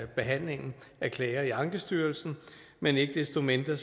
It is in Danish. behandlingen af klager i ankestyrelsen men ikke desto mindre